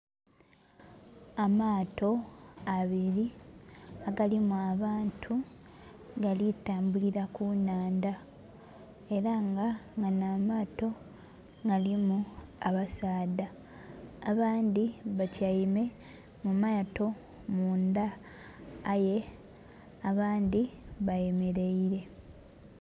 Amaato abiri agalimu abantu gali tambulira ku nnhandha. Era nga gano amaato galimu abasaadha, abandhi batyaime mu maato mundha aye abandhi bayemeleire.